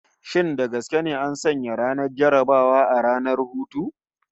Shin da gaske ne an sanya ranar jarrabawa a ranar hutu?